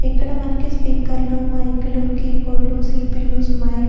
ఇక్కడ మనకి స్పీకర్లు మైకులు కీబోర్డ్ లు సి_పి_యూస్ మైక్ .